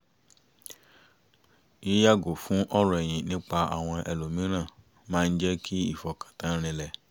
yí yààgò fún ọ̀rọ̀ ẹ̀yin nípa àwọn ẹlòmíràn máa ń jẹ́ kí ìfọkàntán rinlẹ̀